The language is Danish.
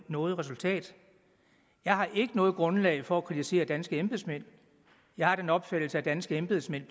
noget resultat jeg har ikke noget grundlag for at kritisere danske embedsmænd jeg har den opfattelse at danske embedsmænd